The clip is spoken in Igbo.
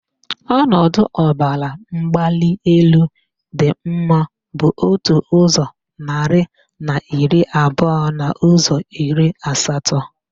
Ọnọdụ ọbaramgbalịelu dị mma bụ otu ụzọ narị na iri abụọ n' ụzọ iri asatọ.